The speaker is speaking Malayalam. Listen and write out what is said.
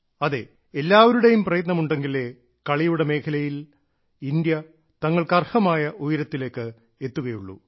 അതെ എല്ലാവരുടെയും പ്രയത്നം ഉണ്ടെങ്കിലേ കളിയുടെ മേഖലയിൽ ഇന്ത്യ തങ്ങൾക്ക് അർഹമായ ഉയരത്തിലേക്ക് എത്തുകയുള്ളൂ